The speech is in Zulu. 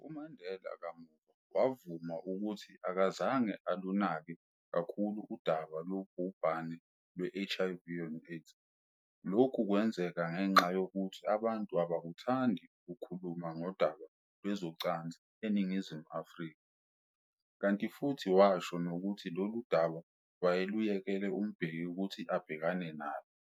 UMandela kamuva wavuma ukuthi akazange alunake kakhulu udaba lobhubhane lwe-HIV and AIDS, lokhu kwenzeka ngenxa yokuthi abantu abakuthandi ukukhuluma ngodaba lwezocansi eNingizimu Afrika, kanti futhi washo nokuthi lolu daba wayeluyekele uMbeki ukuthi abhekane nalo.